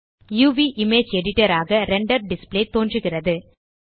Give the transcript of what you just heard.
uvஇமேஜ் editor ஆக render display தோன்றுகிறது